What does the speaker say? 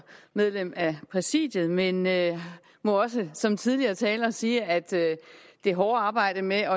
medlem af præsidiet men jeg må også som tidligere talere sige at det hårde arbejde med